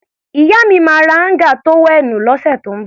Ìyá mi máa ra áńgà tówẹ́ẹ̀nù lọ́sẹ̀ tó ń bọ̀.